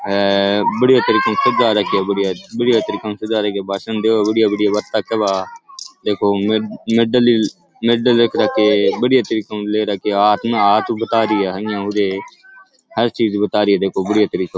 हे बढ़िया तरीके हु सजा राख्यो है बढ़िया बढ़िया तरीके हु सजा राख्यो भाषण देवे बढ़िया बढ़िया बाता केवे आ देखो मैडल मैडल रख राख्यो है एक बढ़िया तरीके हु ले राख्यो हाथ में हाथ हु बता रही है आ इया हु री है हर चीज बता रही बढ़िया तरिके हु।